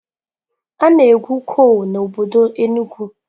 A na-egwu kol n'obodo Enugwu.